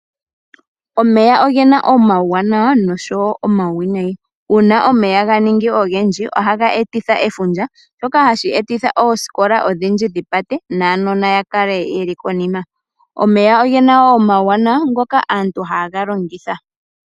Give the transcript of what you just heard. Omeya ogena omawuwanawa noshowo omawinayi uuna omeya ga ningi ogendji ohaga etitha efundja, shoka hashi etitha oosikola odhindji dhi pate nuunona wukale wuli konima. Omeya ogena wo uuwanawa ngoka aantu haye ga longitha.